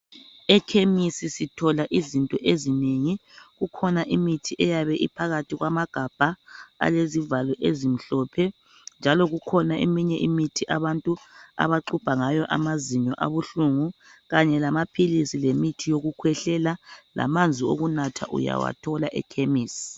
EKhemisi sithola izinto ezinengi. Kukhona imithi eyabe iphakathi kwamagabha alezivalo ezimhlophe njalo kukhona eminye imithi abantu abaxubha ngayo amazinyo abuhlungu kanye lamaphilisi lemithi yokukhwehlela lamanzi okunatha uyawathola eKhemisi.